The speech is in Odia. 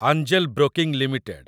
angel Broking limited